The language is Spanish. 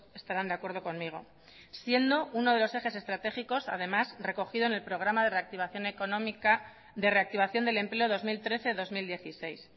estarán de acuerdo conmigo siendo uno de los ejes estratégicos además recogido en el programa de reactivación económica de reactivación del empleo dos mil trece dos mil dieciséis